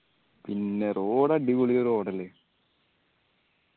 പിന്നെ road അടിപൊളി road അല്ലെ